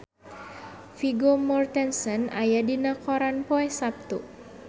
Vigo Mortensen aya dina koran poe Saptu